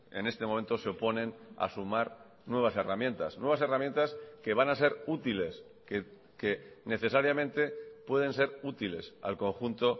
en este momento se oponen a sumar nuevas herramientas nuevas herramientas que van a ser útiles que necesariamente pueden ser útiles al conjunto